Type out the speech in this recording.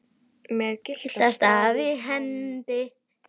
með gyltan staf í hendi.